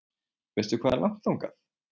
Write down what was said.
Veistu hvað er langt þangað?